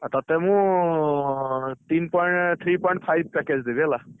ଆଁ ତତେ ମୁଁ, ତିନି ପଓ three point five package ଦେବି ହେଲା।